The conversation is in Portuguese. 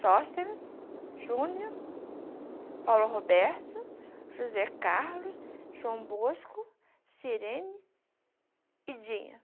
Sosteres, Júnior, Paulo Roberto, José Carlos, João Bosco, Sirene e Dinha.